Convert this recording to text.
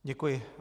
Děkuji.